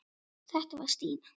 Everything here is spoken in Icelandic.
Þetta var Stína.